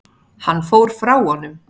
Hann fór frá honum.